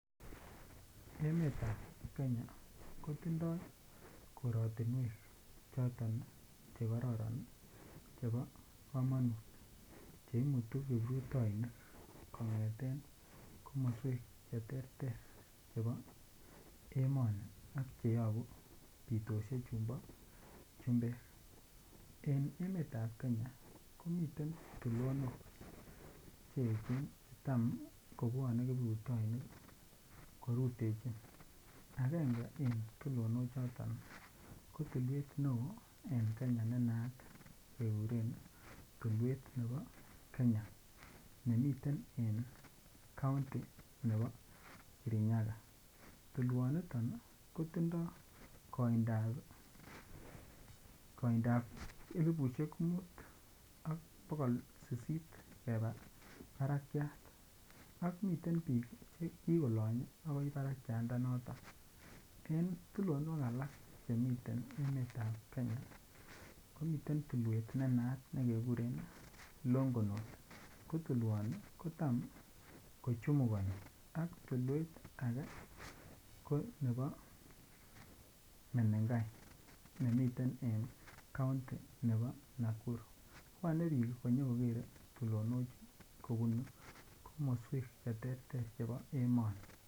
Emetab kenya kotindo korotinwek choton che kororon chebo komonut che imutu kiprutoinik kongeten komoswek che terter chebo emoni ak cheyobuu pitoshek chumbo chumbeek en emetab kenya komiten tulonok cheechen che tam kobwone kiprutoinik korutechin. Angenge en tulonok choton ko tulwet ne oo en Kenya ne naat keguren tulwet nebo kenya nemiten en kaunti nebo Kirinyaga. Tulwoniton kotindo koindap elipushek mut ak bogol sisit kebaa barakiat ak miten biik Che kigolonye baka barakianda noton. Tulonok alak chemiten emetab kenya komiten tulwet ne naat keguren longonot ko naat kotam ko chumukoni ak tulwet age ko nebo menengai nemiten en kounti nebo Nakuru, bwone biik konyo kogere tulonochi kobun komoswek che terter chebo emoni